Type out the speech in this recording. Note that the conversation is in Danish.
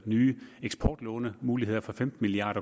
nye eksportlånemuligheder for femten milliard